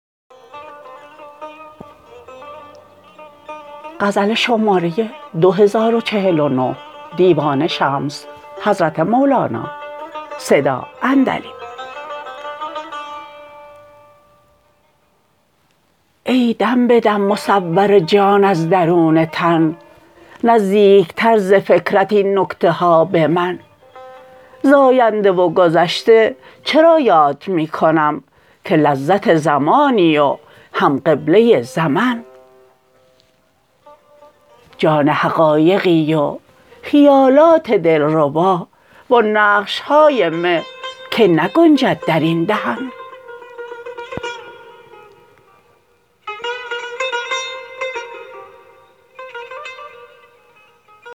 ای دم به دم مصور جان از درون تن نزدیکتر ز فکرت این نکته ها به من ز آینده و گذشته چرا یاد می کنم که لذت زمانی و هم قبله زمن جان حقایقی و خیالات دلربا و آن نقش های مه که نگنجد در این دهن